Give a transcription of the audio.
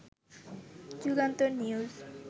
Jugantor news